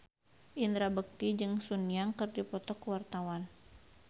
Indra Bekti jeung Sun Yang keur dipoto ku wartawan